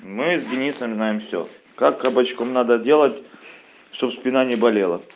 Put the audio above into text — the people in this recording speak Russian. мы с денисом знаем всё как кабачком надо делать чтобы спина не болела